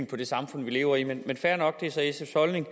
på det samfund vi lever i men fair nok det er så sfs holdning